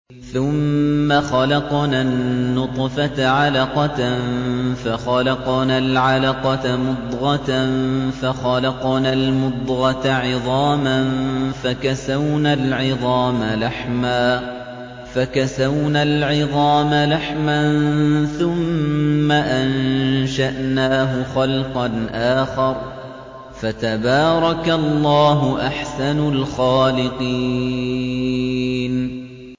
ثُمَّ خَلَقْنَا النُّطْفَةَ عَلَقَةً فَخَلَقْنَا الْعَلَقَةَ مُضْغَةً فَخَلَقْنَا الْمُضْغَةَ عِظَامًا فَكَسَوْنَا الْعِظَامَ لَحْمًا ثُمَّ أَنشَأْنَاهُ خَلْقًا آخَرَ ۚ فَتَبَارَكَ اللَّهُ أَحْسَنُ الْخَالِقِينَ